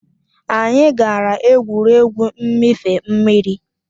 Anyị gara egwuregwu mmịfe mmiri